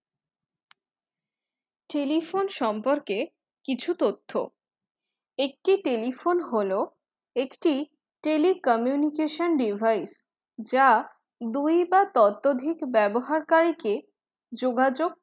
telephone সম্পর্কে কিছু তথ্য একটি telephone হল একটি tele communication device যা দুই বা ততধিক ব্যবহারকারীকে যোগাযোগ